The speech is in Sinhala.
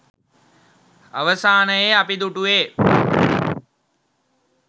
අවසානයේ අපි දුටුවේ